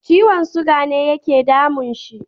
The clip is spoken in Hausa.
Ciwon siga ne yake damun shi.